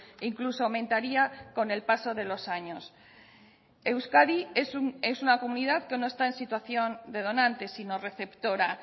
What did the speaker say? e incluso aumentaría con el paso de los años euskadi es una comunidad que no está en situación de donantes sino receptora